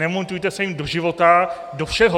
Nemontujte se jim do života, do všeho!